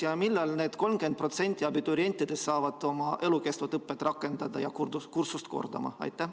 Ja millal need 30% abiturientidest saavad oma elukestvat õpet rakendada ja kursust korrata?